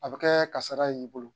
A bɛ kɛ kasara y'i bolo